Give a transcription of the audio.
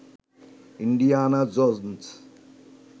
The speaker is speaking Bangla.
Indiana Jones